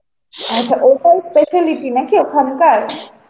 ওটা speciality নাকি ওখানকার?